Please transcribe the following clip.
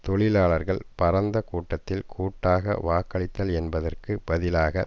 தொழிலாளர்கள் பரந்த கூட்டத்தில் கூட்டாக வாக்களித்தல் என்பதற்கு பதிலாக